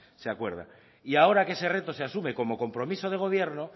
se acuerda y ahora que ese reto se asume como compromiso de gobierno